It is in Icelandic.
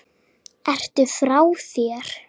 Ertu frá þér!?